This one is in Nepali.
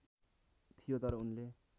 थियो तर उनले